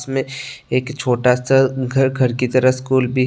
मे एक छोटा सा घर घर की तरफ स्कूल भी है।